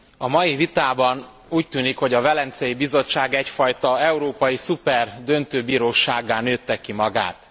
A mai vitában úgy tűnik, hogy a Velencei Bizottság egyfajta európai szuper döntőbírósággá nőtte ki magát.